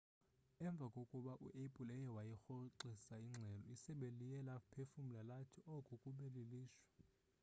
emva kokuba u-apple eye wayirhoxisa ingxelo isebe liye laphefumla lathi oku kube lilishwa